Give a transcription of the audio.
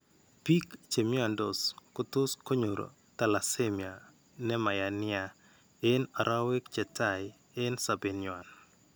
Biik che mnyandos kotos' konyor thalassemia ne ma yaa nia eng' arowek che tai eng' sobet ny'wan.